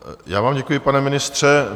Já vám děkuji, pane ministře.